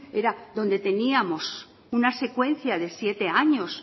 era donde teníamos una secuencia de siete años